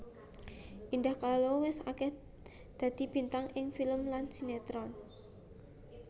Indah Kalalo wis akéh dadi bintang ing film lan sinetron